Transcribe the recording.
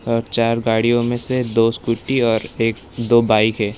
और चार गाड़ियों में से दो स्कूटी और एक दो बाइक है।